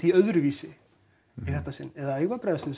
öðruvísi í þetta sinn eða eigum við að bregðast